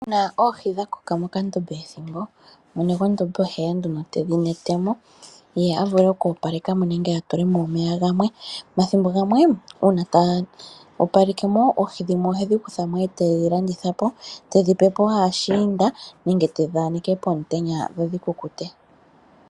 Uuna oohi dhakoka mokandombe ethimbo mwene gwondombe oheya nduno tedhi kwatamo ye avule oku opalekamo nenge atulemo omeya gamwe, omathimbo gamwe uuna taya opalekemo oohi dhimwe ohedhi kuthamo etedhi landithapo, tedhi pepo aashiinda nenge tedhi aneke pomutenya dho dhikukute